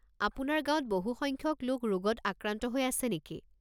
আপোনাৰ গাঁৱত বহু সংখ্যক লোক ৰোগত আক্ৰান্ত হৈ আছে নেকি?